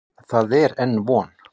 En það er enn von.